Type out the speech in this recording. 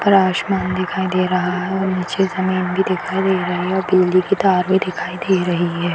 ऊपर आसमान दिखाई दे रहा है और निचे ज़मीन भी दिखाई दे रही है और बिजली के तार भी दिखाई दे रही है।